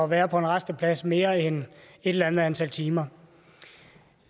være på en rasteplads mere end et eller andet antal timer